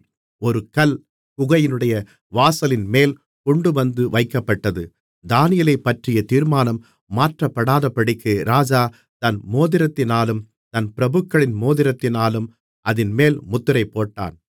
ஒரு கல் குகையினுடைய வாசலின்மேல் கொண்டுவந்து வைக்கப்பட்டது தானியேலைப்பற்றிய தீர்மானம் மாற்றப்படாதபடிக்கு ராஜா தன் மோதிரத்தினாலும் தன் பிரபுக்களின் மோதிரத்தினாலும் அதின்மேல் முத்திரைபோட்டான்